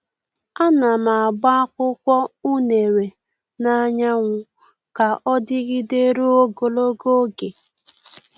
A na m agba akwụkwọ unere n'anyanwu ka ọ dịgide ruo ogologo oge.